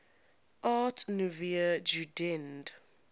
art nouveau jugend